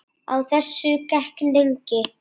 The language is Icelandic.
Á þessu gekk lengi.